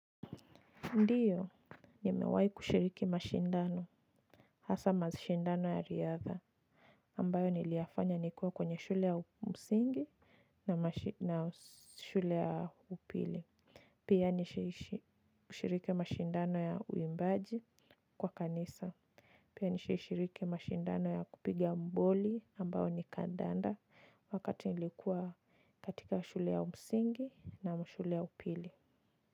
Ndiyo, nimewai kushiriki mashindano, hasa mashindano ya riadha, ambayo niliyafanya nikua kwenye shule ya msingi na shule ya upili. Pia nishiriki mashindano ya uimbaji kwa kanisa. Pia nishiriki mashindano ya kupiga boli ambayo ni kandanda wakati nilikuwa katika shule ya msingi na shule ya upili.